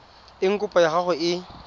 eng kopo ya gago e